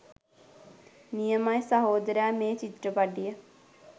නියමයි සහොදරයා මේ චිත්‍රපටිය.